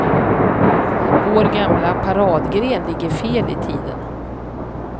Vår gamla paradgren ligger fel i tiden.